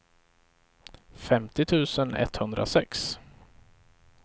femtio tusen etthundrasex